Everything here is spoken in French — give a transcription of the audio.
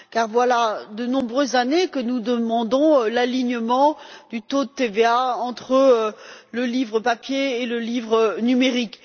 Voilà en effet de nombreuses années que nous demandons l'alignement du taux de TVA entre le livre papier et le livre numérique.